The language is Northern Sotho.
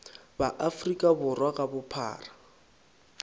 ba afrika borwa ka bophara